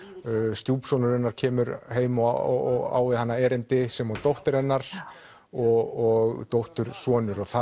stjúpsonur hennar kemur heim og á við hana erindi sem og dóttir hennar og dóttursonur það